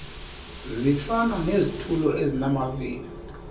zifana nezitulo ezinamavili